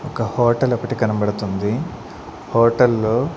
ఒక హోటల్ ఒకటి కనబడుతుంది హోటల్ లో.